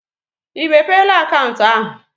I mepela akaụntụ ahụ?